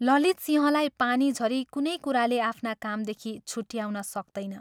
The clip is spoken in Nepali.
ललितसिंहलाई पानी झरी कुनै कुराले आफ्ना कामदेखि छुट्टयाउन सक्तैन।